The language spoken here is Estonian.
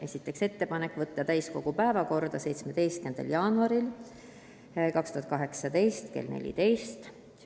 Esiteks, teha ettepanek võtta eelnõu täiskogu 17. jaanuari istungi päevakorda.